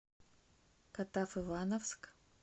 катав ивановск